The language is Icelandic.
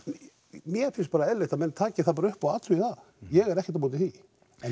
mér finnst bara eðlilegt að menn taki það bara upp og athugi það ég er ekkert á móti því